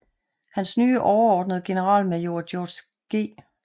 Hans nye overordnede generalmajor George G